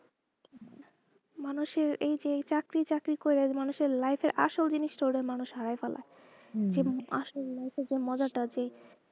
মানুষ এর এই যে চাকরি চাকরি করে মানুষ এর life এর আসল জিনিষটা মানুষ হারায় ফেলাই আসল life এর মজাটা যে,